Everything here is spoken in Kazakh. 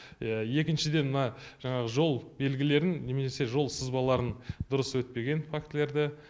екіншіден мына жаңағы жол белгілерін немесе жол сызбаларын дұрыс өтпеген фактілерді